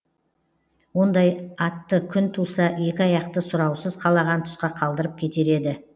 ондай атты күн туса екі аяқты сұраусыз қалаған тұсқа қалдырып кетер еді